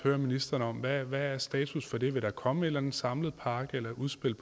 ministeren om hvad er status for det vil der komme en eller anden samlet pakke eller et udspil